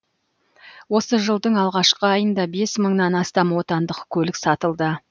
осы жылдың алғашқы айында бес мыңнан астам отандық көлік сатылды